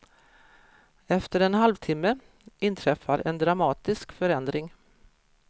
Efter en halvtimme inträffar en dramatisk förändring.